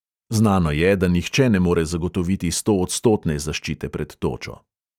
Znano je, da nihče ne more zagotoviti stoodstotne zaščite pred točo.